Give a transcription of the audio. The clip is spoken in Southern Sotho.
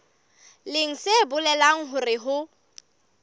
leng se bolelang hore ho